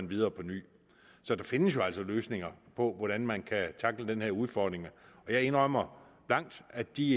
videre på ny så der findes altså løsninger på hvordan man kan tackle den her udfordring jeg indrømmer blankt at de